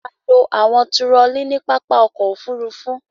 A lo àwọn turọlí ní pápá ọkọ̀-òfurufú.